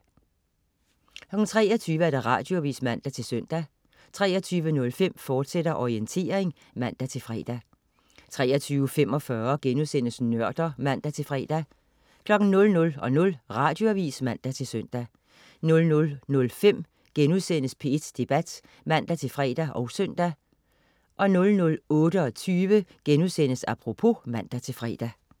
23.00 Radioavis (man-søn) 23.05 Orientering, fortsat* (man-fre) 23.45 Nørder* (man-fre) 00.00 Radioavis (man-søn) 00.05 P1 Debat* (man-fre og søn) 00.28 Apropos* (man-fre)